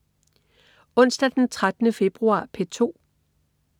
Onsdag den 13. februar - P2: